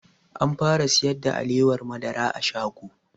An fara sayar da alewar madara a shago